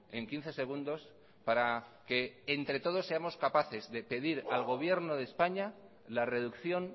en quince segundos para que entre todos seamos capaces de pedir al gobierno de españa la reducción